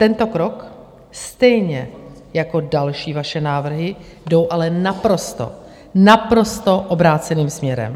Tento krok stejně jako další vaše návrhy jdou ale naprosto, naprosto obráceným směrem.